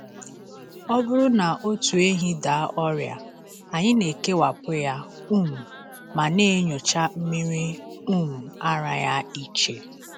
Ọ bụrụ na otu ehi daa ọrịa, anyị na-ekewapụ ya um ma na-enyocha mmiri um ara ya iche.